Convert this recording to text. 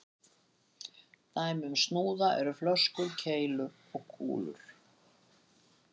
Dæmi um snúða eru flöskur, keilur og kúlur.